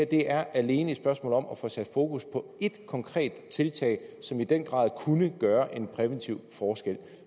det er alene et spørgsmål om at få sat fokus på et konkret tiltag som i den grad kunne gøre en præventiv forskel